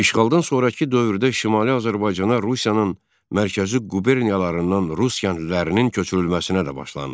İşğaldan sonrakı dövrdə Şimali Azərbaycana rusların mərkəzi quberniyalarından Rus əhalinin köçürülməsinə də başlandı.